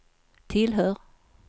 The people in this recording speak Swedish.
tillhör